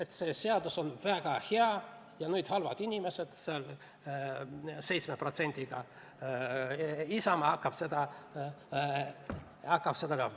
Et see seadus on väga hea, aga halvad inimesed, see 7% toetusega Isamaa hakkab nüüd seda ellu viima.